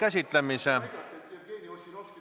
Aitäh!